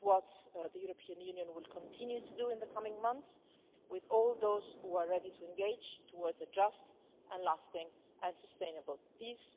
This is what the European Union will continue to do in the coming months, with all those who are ready to engage towards a just and lasting and sustainable peace.